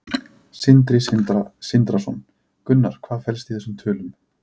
Sindri Sindrason: Gunnar, hvað felst í þessum tölum?